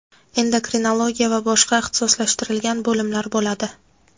endokrinologiya va boshqa ixtisoslashtirilgan bo‘limlar bo‘ladi.